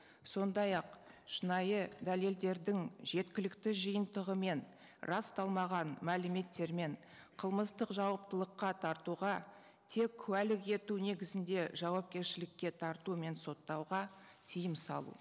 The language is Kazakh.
сондай ақ шынайы дәлелдердің жеткілікті жиынтығымен расталмаған мәліметтермен қылмыстық жауаптылыққа тартуға тек куәлік ету негізінде жауапкершілікке тарту мен соттауға тыйым салу